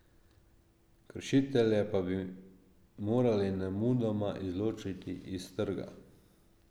Kršitelje pa bi morali nemudoma izločiti s trga.